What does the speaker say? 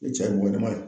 I cɛ ye walima